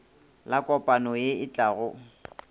la kopano ye e tlago